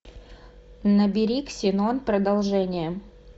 набери ксенон продолжение